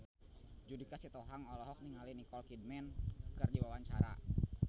Judika Sitohang olohok ningali Nicole Kidman keur diwawancara